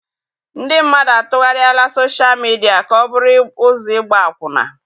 Ndị mmadụ atụgharịala soshal midia ka ọ bụrụ ụzọ ịgba akwụna.